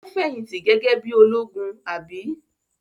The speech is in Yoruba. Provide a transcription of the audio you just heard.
Ó fẹ̀yìntì gege bí i ológun, àbí?